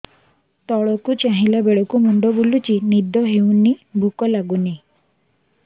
ତଳକୁ ଚାହିଁଲା ବେଳକୁ ମୁଣ୍ଡ ବୁଲୁଚି ନିଦ ହଉନି ଭୁକ ଲାଗୁନି